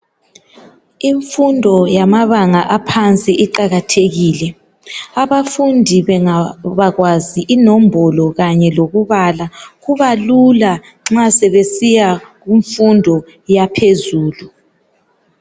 Imfundo yamabanga aphansi iqakathekile abafundi bengabakwazi inombolo kanye lokubala kuba lula nxa sebesiya kumfundo yaphezulu.